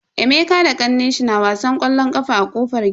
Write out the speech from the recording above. Emeka da kannenshi na wasan ƙwallo a kofar gida.